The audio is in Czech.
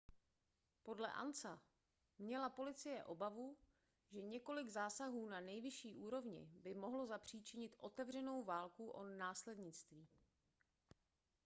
podle ansa měla policie obavu že několik zásahů na nejvyšší úrovni by mohlo zapříčinit otevřenou válku o následnictví